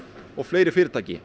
og fleiri fyrirtæki